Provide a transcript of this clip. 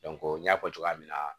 n y'a fɔ cogoya min na